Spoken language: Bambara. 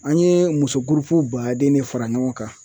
An yee muso gurupu baaden de fara ɲɔgɔn kan.